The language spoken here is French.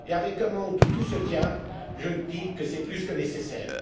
Dans un monde où tout se tient, je dis que c'est plus que nécessaire.